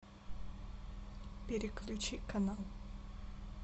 переключи канал